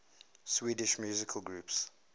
swedish musical groups